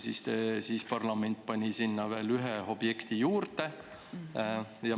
Siis pani parlament sinna veel ühe objekti juurde.